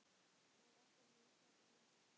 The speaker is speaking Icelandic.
Nei, ástin mín, svarar hún.